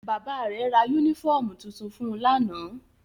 Bàbá rẹ̀ ra yúnífọ̀mù tuntun fun lánàá